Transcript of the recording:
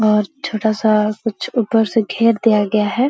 और छोटा-सा कुछ ऊपर से घेर दिया गया है।